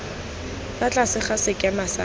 fa tlase ga sekema sa